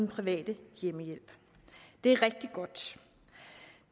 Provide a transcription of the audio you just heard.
private hjemmehjælp det er rigtig godt